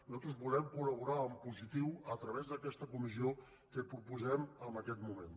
nosaltres volem col·laborar en positiu a través d’aquesta comissió que proposem en aquest moment